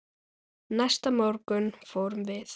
Næsta morgun fórum við